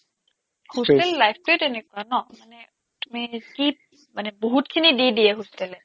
hostel life টোৱেই তেনেকুৱা ন মানে তুমি কি মানে বহুতখিনি দি দিয়ে hostel এ